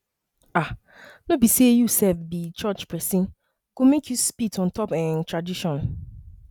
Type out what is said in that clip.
um no be sey you um be church pesin go make you spit on top um tradition